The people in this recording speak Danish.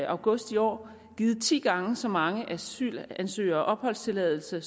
august i år givet ti gange så mange asylansøgere opholdstilladelse